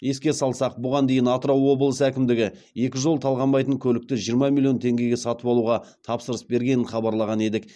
еске салсақ бұған дейін атырау облысы әкімдігі екі жол талғамайтын көлікті жиырма миллион теңгеге сатып алуға тапсырыс бергенін хабарлаған едік